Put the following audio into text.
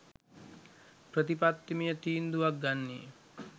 ප්‍රතිපත්තිමය තීන්දුවක් ගන්නේ